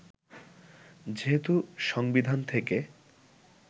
যেহেতু সংবিধান থেকে